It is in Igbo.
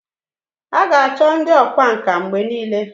a ga-acho ndi okwá nkà mgbe nile